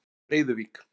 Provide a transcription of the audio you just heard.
Breiðuvík